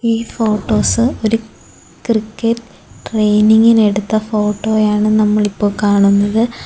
ഈ ഫോട്ടോസ് ഒരു ക്രിക്കറ്റ് ട്രെയിനിങ്ങിന് എടുത്ത ഫോട്ടോ ആണ് നമ്മൾ ഇപ്പോൾ കാണുന്നത്.